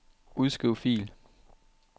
Udskriv fil.